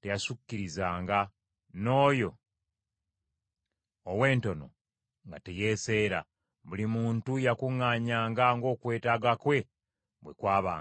teyasukkirizanga, n’oyo ow’entono nga teyeeseera. Buli muntu yakuŋŋaanyanga ng’okwetaaga kwe bwe kwabanga.